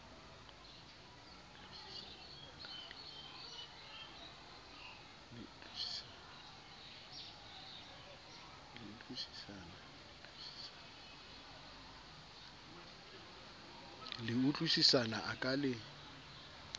le utlwisisana a ka le